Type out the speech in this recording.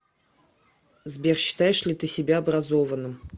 сбер считаешь ли ты себя образованным